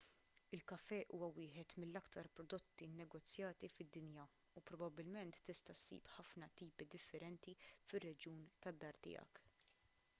il-kafè huwa wieħed mill-aktar prodotti nnegozjati fid-dinja u probabbilment tista' ssib ħafna tipi differenti fir-reġjun tad-dar tiegħek